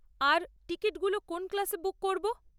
আর টিকিটগুলো কোন ক্লাসে বুক করবো?